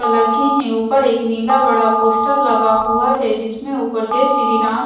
लड़के हैं उपर एक नीला बड़ा पोस्टर लगा हुआ है जिसमें उपर जय श्री राम--